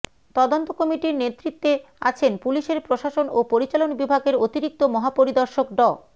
তদন্ত কমিটির নেতৃত্বে আছেন পুলিশের প্রশাসন ও পরিচালন বিভাগের অতিরিক্ত মহাপরিদর্শক ড